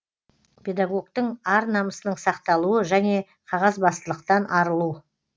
педагогтің ар намысының сақталуы және қағазбастылықтан арылу